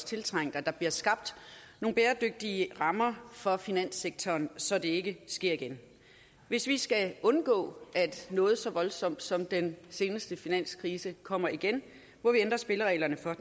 tiltrængt at der bliver skabt nogle bæredygtige rammer for finanssektoren så det ikke sker igen hvis vi skal undgå at noget så voldsomt som den seneste finanskrise kommer igen må vi ændre spillereglerne for